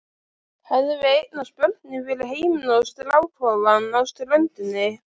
Hefðum við eignast börnin fyrir heiminn og strákofann á ströndinni?